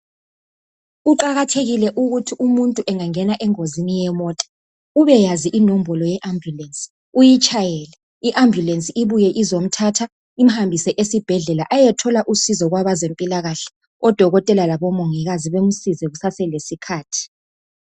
Kuqakathekile ukuthi umutntu engangena engozini yemota ubeyazi inombolo ye ambulence uyitshayele, iambulence ibuye izomthatha imhambise esibhedlela ayethola usizo kwabazempilakahle odokotela labomongikazi bamsize kusaselesikhathi.